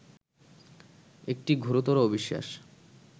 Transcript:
একটি ঘোরতর অবিশ্বাস